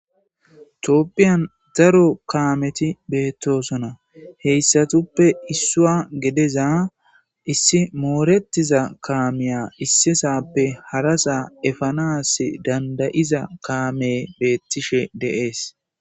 Tophiyan daro Kamet betosona, heysatuppe issuwa gidiza issi moretiza kamiya issi sappe hara sa efanasi danida'iza kaameyi beetishe de'esi.